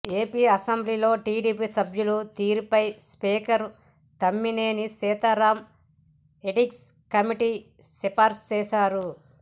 AP అసెంబ్లీలో TDP సభ్యుల తీరుపై స్పీకర్ తమ్మినేని సీతారాం ఎథిక్స్ కమిటీకి సిఫారసు చేశారు